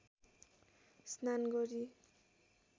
स्नान गरी